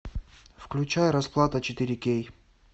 включай расплата четыре кей